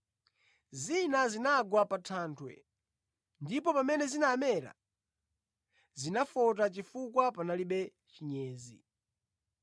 Zina zinagwa pa thanthwe, ndipo pamene zinamera, zinafota chifukwa panalibe chinyezi.